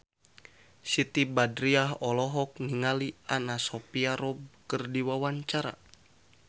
Siti Badriah olohok ningali Anna Sophia Robb keur diwawancara